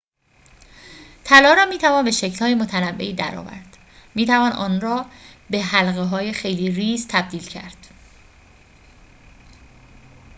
طلا را می‌توان به شکل‌های متنوعی در آورد می‌توان آن را به حلقه‌های خیلی ریز تبدیل کرد